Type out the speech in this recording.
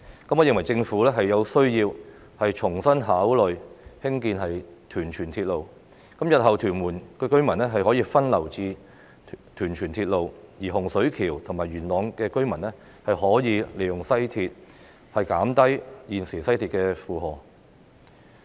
我認為政府有需要重新考慮興建屯荃鐵路，日後屯門居民的交通需求便可以分流至屯荃鐵路，而洪水橋及元朗的居民可以利用西鐵出行，減低現時西鐵的負荷。